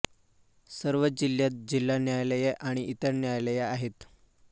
सर्व जिल्ह्यांत जिल्हा न्यायालये आणि इतर न्यायालये आहेत